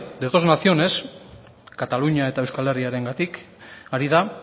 de dos naciones katalunia eta euskal herriarengatik ari da